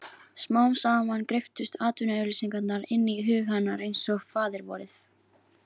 Smám saman greyptust atvinnuauglýsingarnar inn í hug hennar einsog Faðirvorið.